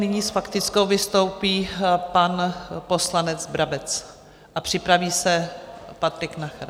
Nyní s faktickou vystoupí pan poslanec Brabec a připraví se Patrik Nacher.